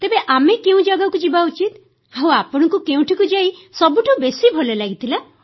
ତେବେ ଆମେ କେଉଁ ଜାଗାକୁ ଯିବା ଉଚିତ ଆଉ ଆପଣଙ୍କୁ କେଉଁଠିକୁ ଯାଇ ସବୁଠାରୁ ଭଲ ଲାଗିଥିଲା